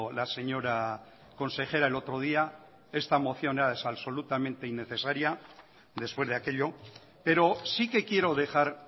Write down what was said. la señora consejera el otro día esta moción es absolutamente innecesaria después de aquello pero sí que quiero dejar